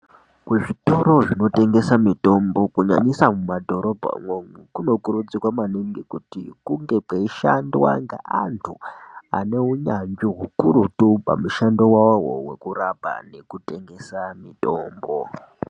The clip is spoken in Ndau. Kuzvitoro zvinotengesa mitombo kunyanyisa mumadhorobha umwomwo, kunokurudzirwa maningi kuti kunge kweishandwa ngeantu ane unyanzvi hukurutu pamishando wawowo hwekurapa nekutengesa mitombo.